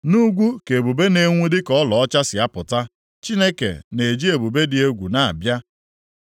Nʼugwu ka ebube na-enwu dịka ọlaedo si apụta; + 37:22 Maọbụ, nʼugwu ka ọ si na-abịa ka ebube ọlaedo Chineke na-eji ebube dị egwu na-abịa.